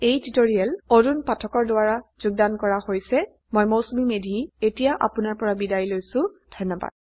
ইয়াতে এই টিউটৰীয়েল সামৰনি পৰিছে s I I T Bombay ৰ পৰা মই মৌচুমী মেধী এতিয়া আপুনাৰ পৰা বিদায় লৈছো যোগদানৰ বাবে ধন্যবাদ